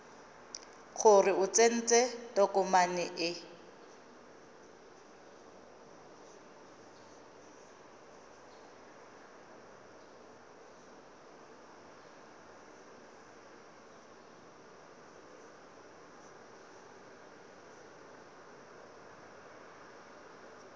gore o tsentse tokomane e